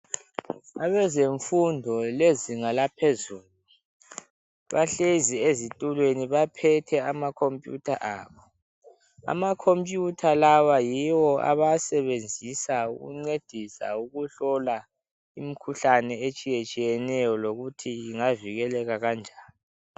Abazemfundo lezinga laphezulu bahlezi ezitulweni baphethe amakhompuyutha abo, amakhompuyutha lawa yiwo abawasebenzisa ukuncedisa ukuhlola imikhuhlane etshiye tshiyeneyo lokuthi ingavikeleka njani.